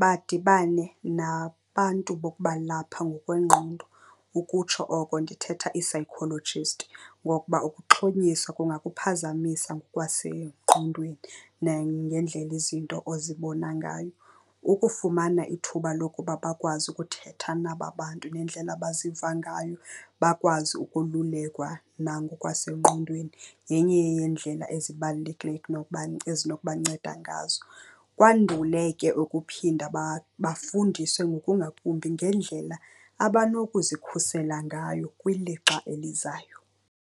badibane nabantu bokubalapha ngokwengqondo, ukutsho oko ndithetha ii-psychologist. Ngokuba ukuxhonyiswa kungakuphazamisa ngokwasengqondweni nangendlela izinto ozibona ngayo. Ukufumana ithuba lokuba bakwazi ukuthetha naba bantu ngendlela abaziva ngayo, bakwazi ukolulekwa nangokwasengqondweni, yenye yeendlela ezibalulekileyo ekunoba ezinokubanceda ngazo. Kwandule ke ukuphinda bafundiswe ngokungakumbi ngendlela abanokuzisikhusela ngayo kwilixa elizayo.